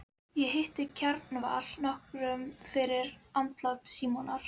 Ég hitti Kjarval nokkru fyrir andlát Símonar.